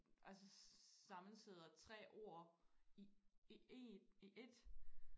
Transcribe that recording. Altså sammensætter tre ord i i én i ét